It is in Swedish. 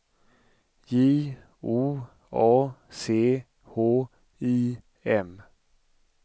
J O A C H I M